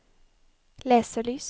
leselys